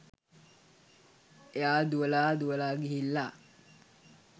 එයා දුවලා දුවලා ගිහිල්ලා